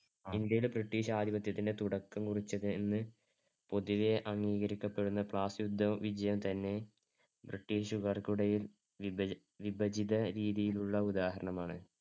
ഇന്ത്യയിൽ ബ്രിട്ടീഷ് ആധിപത്യത്തിന്‍ടെ തുടക്കം കുറിച്ചതെന്ന് പൊതുവെ അംഗീകരിക്കപ്പെടുന്ന പ്ലാസി യുദ്ധവിജയം തന്നെ ബ്രിട്ടീഷുകാരുടെ വിഭജ~ വിഭജിതരീതിയിലുള്ള ഉദാഹരണമാണ്.